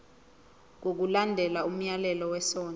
ngokulandela umyalelo wesondlo